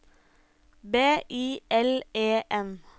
B I L E N